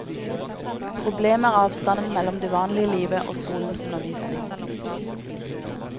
Problemet er avstanden mellom det vanlige livet og skolens undervisning.